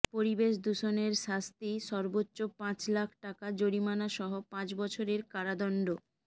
পরিবেশ দূষণের শাস্তি সর্বোচ্চ পাঁচ লাখ টাকা জরিমানাসহ পাঁচ বছরের কারাদণ্ড